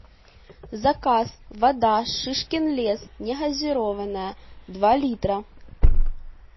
заказ вода шишкин лес негазированная два литра